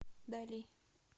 дали